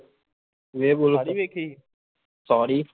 werewolf ਨੀ ਵੇਖੀ ਸਾਰੀ